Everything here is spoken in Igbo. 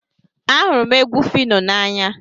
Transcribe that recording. Ahụrụ m egwu Phyno n'anya